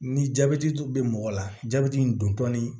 Ni jabɛti dun be mɔgɔ la jabɛti in doni